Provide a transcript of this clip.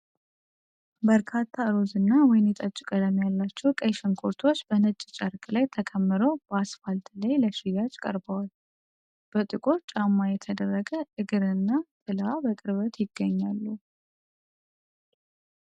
በርካታ ሮዝ እና ወይንጠጅ ቀለም ያላቸው ቀይ ሽንኩርቶች በነጭ ጨርቅ ላይ ተከምረው በአስፋልት ላይ ለሽያጭ ቀርበዋል። በጥቁር ጫማ የተደረገ እግርና ጥላ በቅርበት ይገኛሉ።